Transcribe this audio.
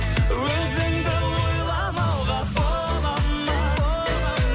өзіңді ойламауға бола ма